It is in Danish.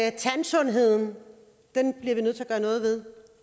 at tandsundheden bliver vi nødt til at gøre noget ved